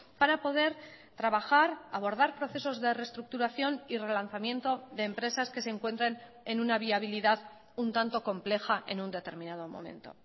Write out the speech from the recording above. para poder trabajar abordar procesos de reestructuración y relanzamiento de empresas que se encuentren en una viabilidad un tanto compleja en un determinado momento